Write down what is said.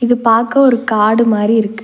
இது பாக்க ஒரு காடு மாரி இருக்கு.